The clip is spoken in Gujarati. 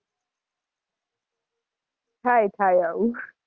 થાય થાય આવું.